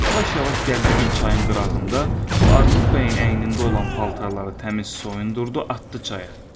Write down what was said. Yavaş-yavaş gəldi bir çayın qırağında bu Armud bəyin əynində olan paltarları təmiz soyundurdu, atdı çaya.